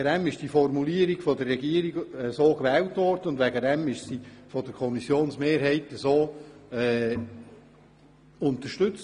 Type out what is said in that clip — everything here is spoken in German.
Deswegen wurde die Formulierung von der Regierung so gewählt, und deswegen wurde sie von der Kommissionsmehrheit unterstützt.